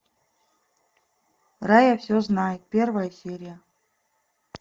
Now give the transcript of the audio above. рая все знает первая серия